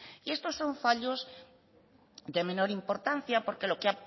y esto son fallos de menor importancia porque